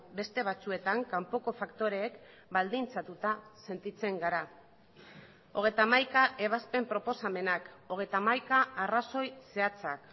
beste batzuetan kanpoko faktoreek baldintzatuta sentitzen gara hogeita hamaika ebazpen proposamenak hogeita hamaika arrazoi zehatzak